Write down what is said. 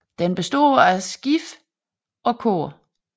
Den består af skib og kor